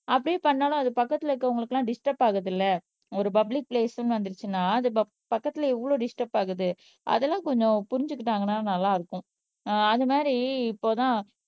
அப்படியே பண்ணாலும் அது பக்கத்துல இருக்குறவங்களுக்கெல்லாம் டிஸ்டர்ப் ஆகுதுல்ல ஒரு பப்ளிக் பிளேஸ்ன்னு வந்துருச்சுன்னா அது ப பக்கத்துல எவ்வளவு டிஸ்டர்ப் ஆகுது அதெல்லாம் கொஞ்சம் புரிஞ்சுக்கிட்டாங்கன்னா நல்லா இருக்கும் ஆஹ் அது மாதிரி இப்போதான்